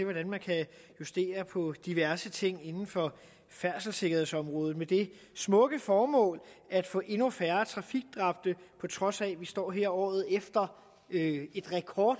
hvordan man kan justere på diverse ting inden for færdselssikkerhedsområdet med det smukke formål at få endnu færre trafikdræbte på trods af at vi står her året efter et år